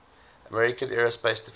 american aerospace defense